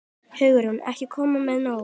Hugrún: Ekki komnir með nóg?